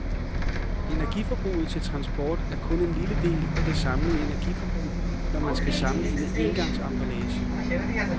Energiforbruget til transport er kun en lille del af det samlede energiforbrug, når man skal sammenligne engangsemballager.